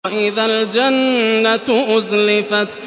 وَإِذَا الْجَنَّةُ أُزْلِفَتْ